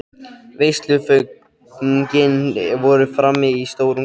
Veisluföngin voru frammi í stórum kössum.